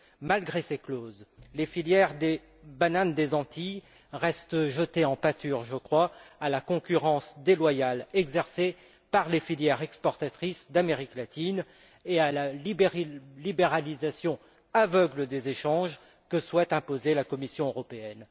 Malgré ces clauses, les filières des bananes des Antilles restent jetées en pâture, je crois, à la concurrence déloyale exercée par les filières exportatrices d'Amérique latine et à la libéralisation aveugle des échanges que souhaite imposer la Commission européenne.